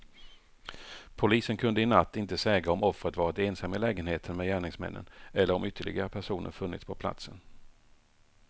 Polisen kunde i natt inte säga om offret varit ensam i lägenheten med gärningsmännen eller om ytterligare personer funnits på platsen.